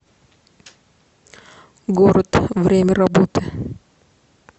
город время работы